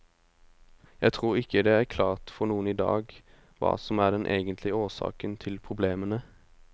Jeg tror ikke det er klart for noen i dag hva som er den egentlige årsaken til problemene.